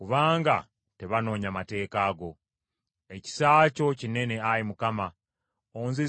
Ekisa kyo kinene, Ayi Mukama , onzizeemu obulamu nga bwe wasuubiza.